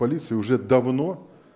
полиция уже давно